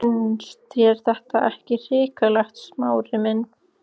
Finnst þér þetta ekki hrikalegt, Smári minn?